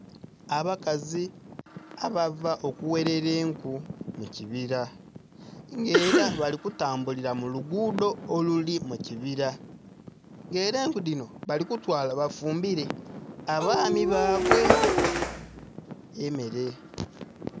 Abakazi abava okugherera enku mukibila nga era bali kutambulila mulugudo oluli mukibila nga era enku dhinho bali kutwala bafumbile abaami babwe emere.